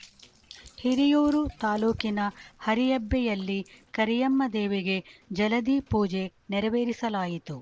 ಹಿರಿಯೂರು ತಾಲೂಕಿನ ಹರಿಯಬ್ಬೆಯಲ್ಲಿ ಕರಿಯಮ್ಮದೇವಿಗೆ ಜಲಧಿ ಪೂಜೆ ನೆರವೇರಿಸಲಾಯಿತು